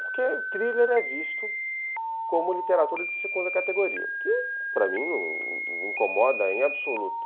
Porque o thriller é visto como literatura de segunda categoria, o que, para mim, incomoda em absoluto.